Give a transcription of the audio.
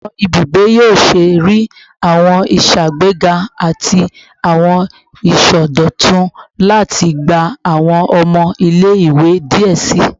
Awọn ibugbe yoo ṣee rii awọn iṣagbega ati awọn isọdọtun lati gba awọn ọmọ ile-iwe diẹ sii